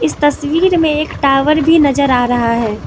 इस तस्वीर में एक टॉवर भी नज़र आ रहा है।